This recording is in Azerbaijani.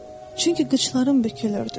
Çünki qıçlarım bükülürdü.